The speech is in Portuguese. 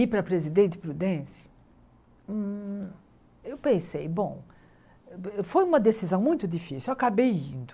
Ir para Presidente Prudente, hum eu pensei, bom, foi uma decisão muito difícil, eu acabei indo.